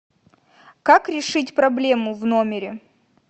как решить проблему в номере